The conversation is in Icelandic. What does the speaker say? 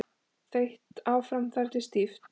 Þeytt áfram þar til stíft.